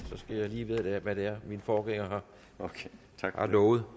skal jeg lige vide hvad det er min forgænger har lovet